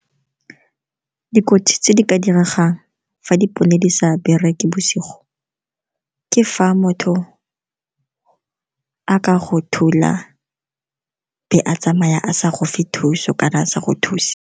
Dikotsi tse di ka diregang fa dipone di sa bereke bosigo ke fa motho a ka go thula be a tsamaya a sa go fe thuso kana sa go thuse.